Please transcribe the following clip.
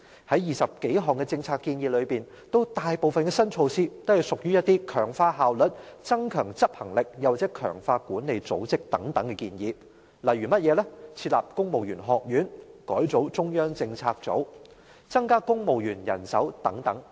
在20多項政策建議中，大部分新措施都屬於強化效率、增強執行力或強化管理組織等建議，例如設立公務員學院、改組中央政策組、增加公務員人手等。